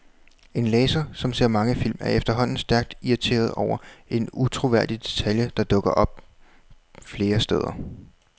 En læser, som ser mange film, er efterhånden stærkt irriteret over en utroværdig detalje, der dukker op flere steder.